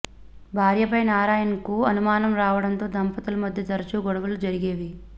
భార్యపై నారాయణన్కు అనుమానం రావడంతో దంపతులు మధ్య తరచూ గొడవలు జరిగేవి